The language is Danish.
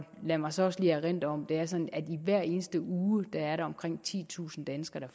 lad mig så også lige erindre om at det er sådan at der hver eneste uge er omkring titusind danskere